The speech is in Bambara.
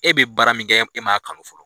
E be baara min kɛ e m'a kanu fɔlɔ